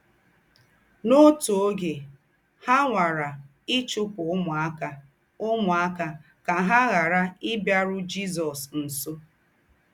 N’ọ́tù ógè, hà nwàrà íchùpụ̀ úmùákà úmùákà kà hà ghàrà íbíàrù Jízọ̀s nsọ̀.